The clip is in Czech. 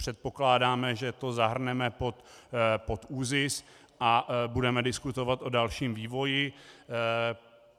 Předpokládáme, že to zahrneme pod ÚZIS, a budeme diskutovat o dalším vývoji.